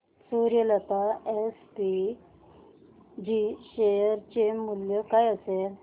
Suryalata SPG share चे मूल्य काय असेल